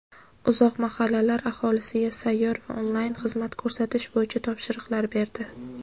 uzoq mahallalar aholisiga sayyor va onlayn xizmat ko‘rsatish bo‘yicha topshiriqlar berdi.